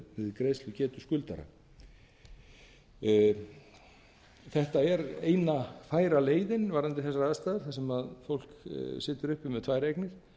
við greiðslugetu skuldara þetta er eina færa leiðin varðandi þessar aðstæður þar sem fólk situr uppi með tvær eignir